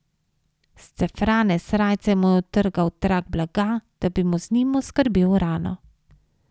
S scefrane srajce mu je odtrgal trak blaga, da bi mu z njim oskrbel rano.